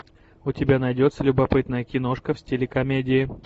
у тебя найдется любопытная киношка в стиле комедии